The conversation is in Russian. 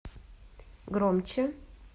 громче